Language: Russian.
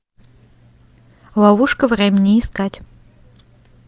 ловушка времени искать